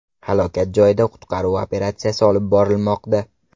Halokat joyida qutqaruv operatsiyasi olib borilmoqda.